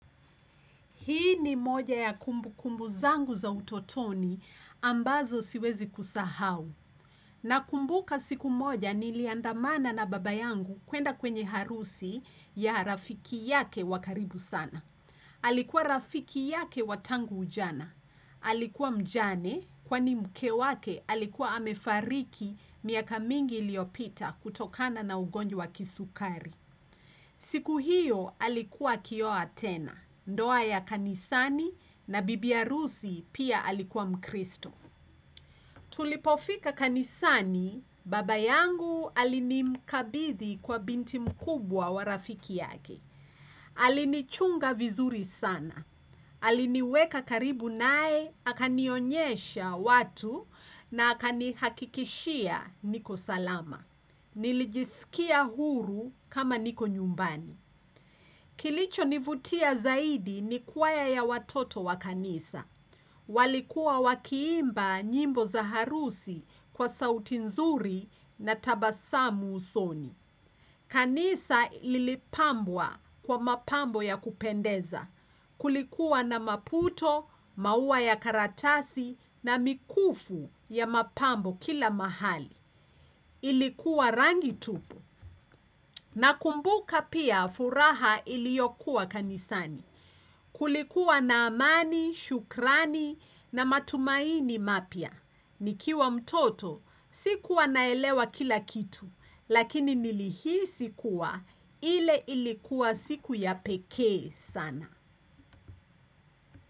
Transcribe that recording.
Hii ni moja ya kumbu kumbu zangu za utotoni ambazo siwezi kusahau. Nakumbuka siku moja niliandamana na baba yangu kwenda kwenye harusi ya rafiki yake wa karibu sana. Alikuwa rafiki yake wa tangu ujana. Alikuwa mjane kwani mke wake alikuwa amefariki miaka mingi iliyopita kutokana na ugonjwa wa kisukari. Siku hiyo alikuwa akioa tena. Ndoa ya kanisani na bibi harusi pia alikuwa mkristo. Tulipofika kanisani, baba yangu alinimkabidhi kwa binti mkubwa wa rafiki yake. Alinichunga vizuri sana. Aliniweka karibu naye, akanionyesha watu na akanihakikishia niko salama. Nilijiskia huru kama niko nyumbani Kilicho nivutia zaidi ni kwaya ya watoto wa kanisa walikuwa wakiimba nyimbo za harusi kwa sauti nzuri na tabasamu usoni kanisa lilipambwa kwa mapambo ya kupendeza Kulikuwa na maputo, maua ya karatasi na mikufu ya mapambo kila mahali Ilikuwa rangi tupu, nakumbuka pia furaha iliyokuwa kanisani. Kulikuwa na amani, shukrani na matumaini mapya. Nikiwa mtoto, sikuwa naelewa kila kitu, lakini nilihisi kuwa, ile ilikuwa siku ya pekee sana.